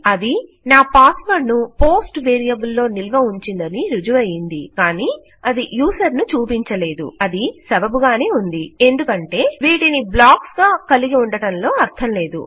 అది నా password ను పోస్ట్ వేరియబుల్ లో నిల్వ ఉంచిందని ఋజువయ్యింది కానీ అది యూజర్ ను చూపించలేదు అది సబబు గానే ఉంది ఎందుకంటే వీటిని బ్లాక్స్ గా కలిగి ఉండటంలో అర్ధం లేదు